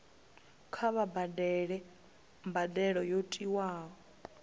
kha vha badele mbadelo yo tiwaho